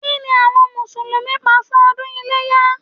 Kí ni àwọn Mùsùlùmí pa fún ọdún iléyá?